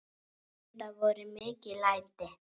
Enda voru mikil læti.